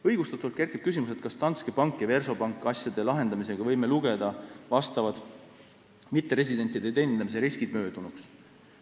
Õigustatult kerkib küsimus, kas Danske Banki ja Versobanki asjade lahendamisega võime lugeda vastavad mitteresidentide teenindamise riskid möödunuks.